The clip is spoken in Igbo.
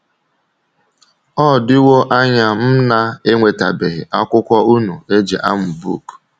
Ọ dịwo anya m na - enwetabeghị akwụkwọ unu e ji amụ book.